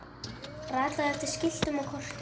ratað eftir skiltum og kortum